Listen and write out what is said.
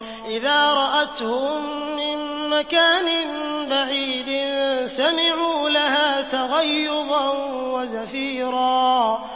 إِذَا رَأَتْهُم مِّن مَّكَانٍ بَعِيدٍ سَمِعُوا لَهَا تَغَيُّظًا وَزَفِيرًا